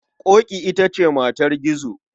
Ƙoƙi ita ce matar Gizo.